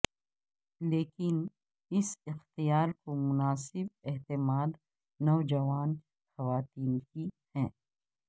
لیکن اس اختیار کو مناسب اعتماد نوجوان خواتین کی ہے